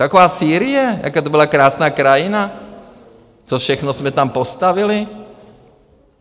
Taková Sýrie, jaká to byla krásná krajina, co všechno jsme tam postavili.